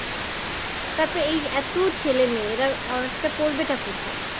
তারপরে এই এতো ছেলে মেয়ে এরা honours টা পড়বেটা কোথায়?